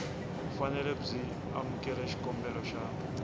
fanele byi amukela xikombelo xa